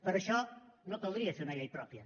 per això no caldria fer una llei pròpia